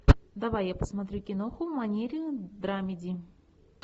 давай я посмотрю киноху в манере драмеди